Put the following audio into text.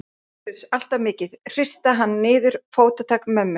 Uss-uss, allt of mikið, hrista hann niður. fótatak mömmu